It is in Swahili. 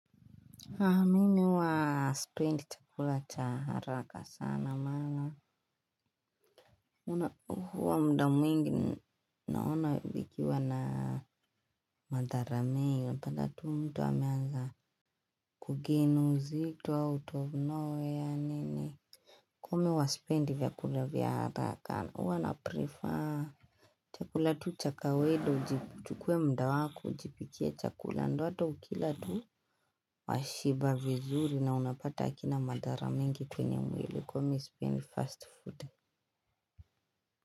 Mimi huwa spendi chakula cha haraka sana maana. Huwa muda mwingi naona vikikiwa na madhara mingi. Ha! Mimi huwa sipendi chakula cha haraka sana maana. Kwa hivyo huwa sipendi vyakula vya haraka. Huwa na 'prefer' chakula tu cha kawaida uji. Uchukue muda wako. Ujipikie chakula. Ndio hata ukila tu washiba vizuri. Na unapata kina madhara mingi kwenye mwili kwa hio mi sipeni 'fast food'.